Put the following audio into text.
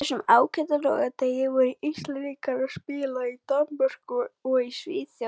Á þessum ágæta laugardegi voru Íslendingar að spila í Danmörku og í Svíþjóð.